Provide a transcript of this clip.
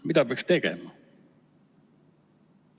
Mida peaks tegema?